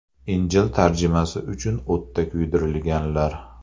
Injil tarjimasi uchun o‘tda kuydirilganlar.